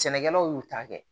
Sɛnɛkɛlaw y'u ta kɛ